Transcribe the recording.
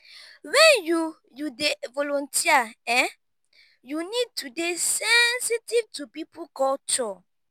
when you you dey volunteer um you need to dey sensitive to pipo culture